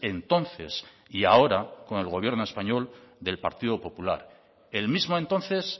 entonces y ahora con el gobierno español del partido popular el mismo entonces